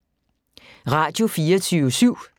Radio24syv